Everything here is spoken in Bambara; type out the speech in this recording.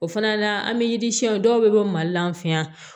O fana na an bɛ yiri siɲɛ dɔw bɛ bɔ mali la an fɛ yan